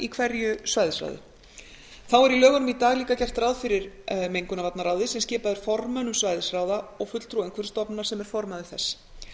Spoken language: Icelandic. hverju svæðisráði þá er í lögunum í dag líka gert ráð fyrir mengunarvarnaráði sem skipað er formönnum svæðisráða og fulltrúa umhverfisstofnunar sem er formaður þess